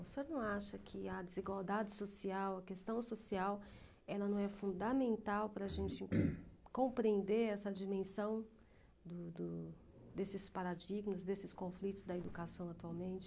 O senhor não acha que a desigualdade social, a questão social, ela não é fundamental para a gente compreender essa dimensão do do desses paradigmas, desses conflitos da educação atualmente?